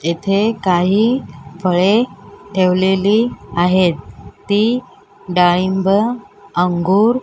येथे काही फळे ठेवलेली आहेत ती डाळिंब अंगूर --